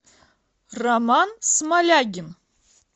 роман смолягин